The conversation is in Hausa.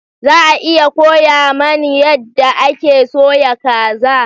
Za a iya koya mani yadda ake soya kaza?